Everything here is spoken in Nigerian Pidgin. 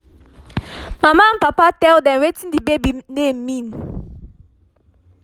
mama and papa tell dem wetin the baby name mean